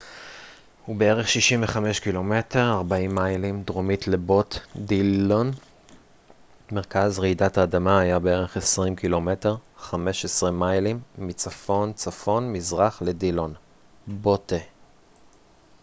"מרכז רעידת האדמה היה בערך 20 ק""מ 15 מיילים מצפון-צפון-מזרח לדילון dillon ובערך 65 ק""מ 40 מיילים דרומית לבוט botte.